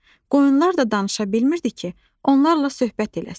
Qoyunlar da danışa bilmirdi ki, onlarla söhbət eləsin.